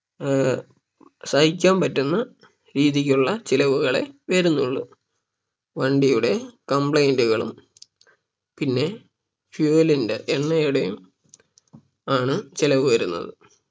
ഏർ സഹിക്കാൻ പറ്റുന്ന രീതിക്കുള്ള ചിലവുകളെ വരുന്നുള്ളൂ വണ്ടിയുടെ complaint കളും പിന്നെ fuel ന്റെ എണ്ണയുടെയും ആണ് ചിലവ് വരുന്നത്